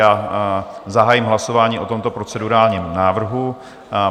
Já zahájím hlasování o tomto procedurálním návrhu.